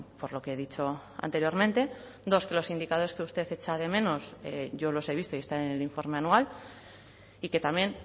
por lo que he dicho anteriormente dos que los indicadores que usted echa de menos yo los he visto y están en el informe anual y que también